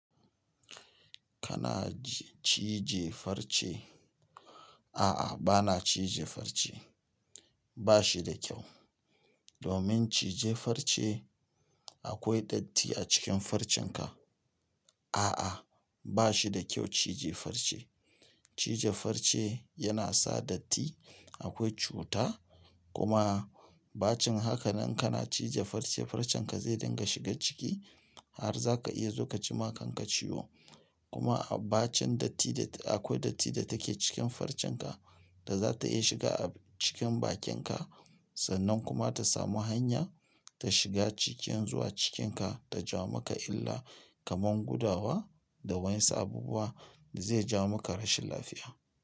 Kana cije farce? A'a, bana cije farce. Ba shi da kyau. Domin cije farce akwai datti a cikin farcenka. A'a, ba shi da kyau cije farce. Cije farce yana sa datti, akwai cuta kuma bacin haka nan kana cije farce, farcenka zai dinga shiga ciki har za ka iya zo ka ji ma kanka ciwo. Kuma a bacin dattin da akwai datti da take cikin farcenka da za ta iya shiga a cikin bakinka sannan kuma ta samu hanya ta shiga cikin zuwa cikinka ta ja maka illa kamar gudawa da wa'yansu abubuwa da zai ja maka rashin lafiya.